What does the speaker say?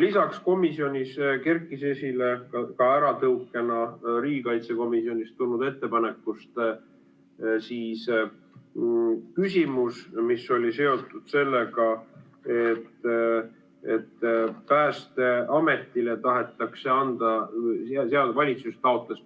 Lisaks kerkis komisjonis esile riigikaitsekomisjonist tulnud ettepanekust tõukunud küsimus, mis oli seotud sellega, et valitsus taotles